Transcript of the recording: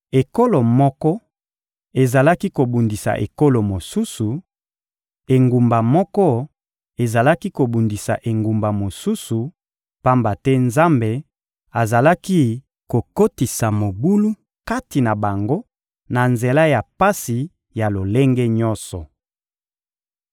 Ekolo moko ezalaki kobundisa ekolo mosusu, engumba moko ezalaki kobundisa engumba mosusu, pamba te Nzambe azalaki kokotisa mobulu kati na bango na nzela ya pasi ya lolenge nyonso.